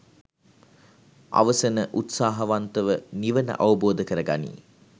අවසන උත්සාහවන්තව නිවන අවබෝධ කරගනියි.